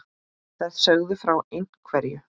Þær sögðu frá ein- hverju.